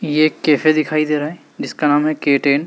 ये एक कैफे दिखाई दे रहा है जिसका नाम है के_टेन ।